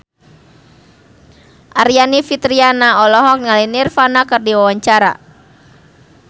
Aryani Fitriana olohok ningali Nirvana keur diwawancara